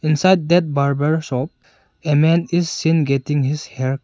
Inside that barber shop a man is seen getting his hair --